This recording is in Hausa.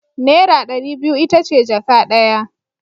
Naira ɗari biyu ita ce jaka ɗaya.